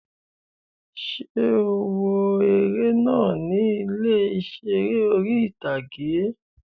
Ṣé o wo eré náà ní ilé ìseré orí-ìtágé?